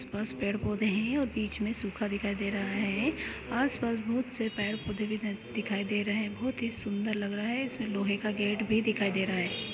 आस पास पेड़ पौधे है और बीच में सुखा दिखाई दे रहा है आसपास बहुत से पेड़ पौधे भी दिखाई दे रहा है बहुत ही सुंदर लग रहा है इसमें लोहे का गेट भी दिखाई दे रहा है।